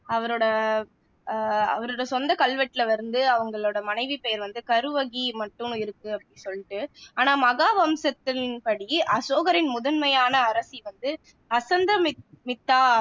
அவரோட அஹ் அவரோட சொந்த கல்வெட்டுல வந்து அவங்களோட மனைவி பேர் வந்து கருவகி மட்டும் இருக்கு அப்படின்னு சொல்லிட்டு ஆனா மகாவம்சத்தின் படி அசோகரின் முதன்மையான அரசி வந்து அசந்தமித்தா